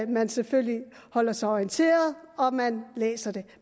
man selvfølgelig holder sig orienteret og at man læser det